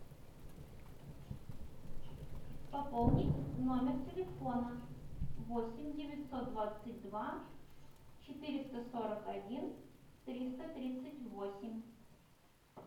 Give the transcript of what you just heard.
пополнить номер телефона восемь девятьсот двадцать два четыреста сорок один триста тридцать восемь